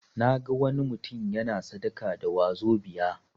Naga wani mutum yana sadaka da 'wazobia'.